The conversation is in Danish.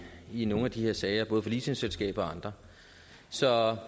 i nogle af de her sager både for leasingselskaber og andre så